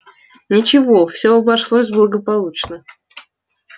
ничего всё обошлось благополучно